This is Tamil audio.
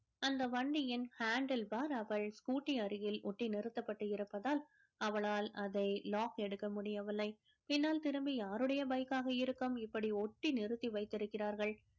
அந்த வண்டியின் handle bar அவள் scooty அருகில் ஒட்டி நிருத்தப்பட்டு இருப்பதால் அவளால் அதை lock எடுக்க முடியவில்லை பின்னால் திரும்பி யாருடைய bike காக இருக்கும் இப்படி ஒட்டி நிறுத்தி வைத்திருக்கிறார்கள்